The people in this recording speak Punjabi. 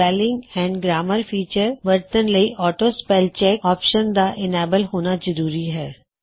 ਸਪੈੱਲਿੰਗ ਅਤੇ ਗਰੈਮਰ ਫੀਚਰ ਵਰਤਣ ਲਈ ਆਟੋ ਸਪੈੱਲ ਚੈੱਕ ਆਪਸ਼ਨ ਦਾ ਇਨੇਬਲ ਹੋਣਾ ਜ਼ਰੂਰੀ ਹੈ